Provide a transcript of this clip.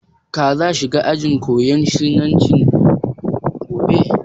Ka za shiga ajin koyan harshen Sinanci gobe?